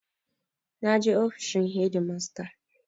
Na je ofishin shedimasta